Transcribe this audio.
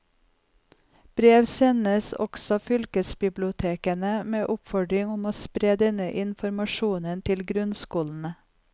Brev sendes også fylkesbibliotekene med oppfordring om å spre denne informasjonen til grunnskolene.